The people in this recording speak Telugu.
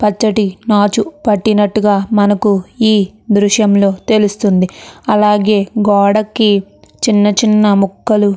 పచ్చటి మాచు పట్టినట్టుగా మనకు ఈ దృశ్యం లో తెలుస్తుంది అలాగే గోడకి చిన్న చిన్న మొక్కలు.